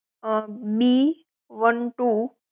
um B one two